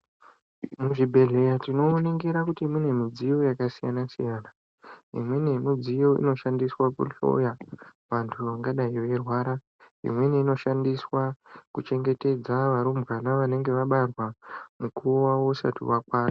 Muzvibhehlera tinoningira kuti mune midziyo yakasiyana siyana .Imweni yemidziyo inoshandiswe kuhloya vantu vangandai veirwara. Imweni inoshandiswa kuchengetedza varumbwana vanenge vabarwa nguwa isati yakwana.